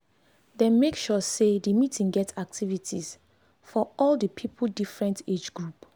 dem make sure say the meeting get activities for all the people different age group